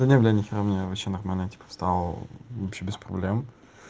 да не блядь нихера меня вообще нормально типа встал вообще без проблем